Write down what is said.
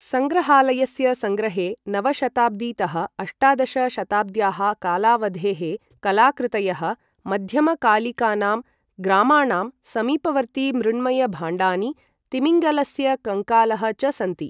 संग्रहालयस्य संग्रहे नव शताब्दीतः अष्टादश शताब्द्याः कालावधेः कलाकृतयः, मध्यमकालिकानां ग्रामाणां समीपवर्तिमृण्मयभाण्डानि, तिमिङ्गलस्य कङ्कालः च सन्ति।